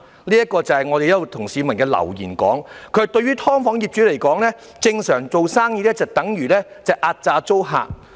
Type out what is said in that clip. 有一則來自一名市民的留言："對於'劏房'業主來說，正常做生意就等於壓榨租客"。